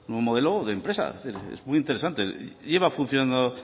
un nuevo modelo de empresa es muy interesante lleva funcionando